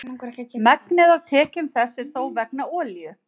megnið af tekjum þess er þó vegna olíu